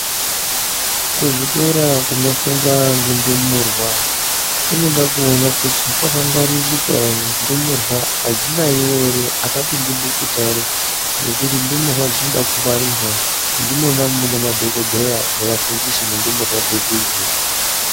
Kuzvikora kunofundwa ngendumurwa kunoda kuona kuti kwakangwaririka ere ndumurwa adzinayiwi ere apapindi bukuta ere ngekuti ndumurwa dzinoda kungwarirwa, ndimona mune madhokodheya nevafundisi mundumurwa dzedu idzi.